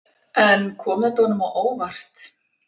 En kom þetta honum á óvart?